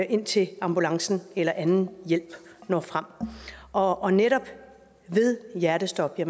indtil ambulancen eller anden hjælp når frem og og netop ved hjertestop